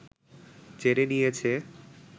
জেনে নিয়েছে